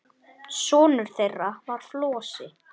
Sonur þeirra var Flosi.